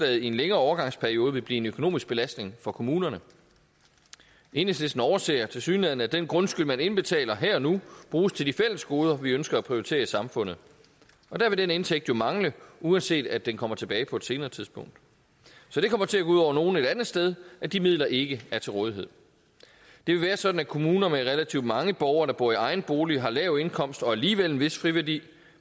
i en længere overgangsperiode vil blive en økonomisk belastning for kommunerne enhedslisten overser tilsyneladende at den grundskyld man indbetaler her og nu bruges til de fælles goder vi ønsker at prioritere i samfundet der vil den indtægt jo mangle uanset at den kommer tilbage på et senere tidspunkt så det kommer til at gå ud over nogle et andet sted at de midler ikke er til rådighed det vil være sådan at kommuner med relativt mange borgere der bor i egen bolig har lav indkomst og alligevel en vis friværdi